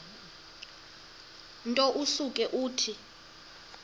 nto usuke uthi